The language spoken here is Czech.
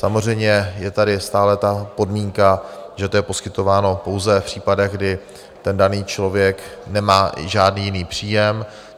Samozřejmě je tady stále ta podmínka, že to je poskytováno pouze v případech, kdy ten daný člověk nemá žádný jiný příjem.